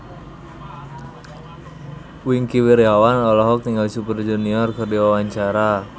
Wingky Wiryawan olohok ningali Super Junior keur diwawancara